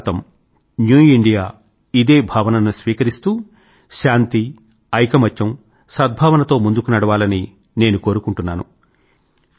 నవ భారతంన్యూ ఇండియా ఇదే భావనను స్వీకరిస్తూ శాంతి ఐకమత్యం సద్భావన తో ముందుకు నడవాలని నేను కోరుకుంటున్నాను